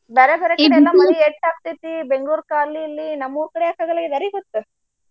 ಬ್ಯಾರೆ ಬ್ಯಾರೆ ಕಡೆ ಎಲ್ಲ ಮಳಿ ಹೆಚ್ಚು ಆಗತೈತಿ Bangalore ಕ ಅಲ್ಲಿ ಇಲ್ಲಿ ನಮ್ಮೂರ ಕಡೆ ಯಾಕ ಆಗಲ್ಲಾಗದ ಯಾರಿಗೊತ್ತ?